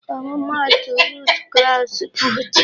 Ọmụma atụ root crops bụ ji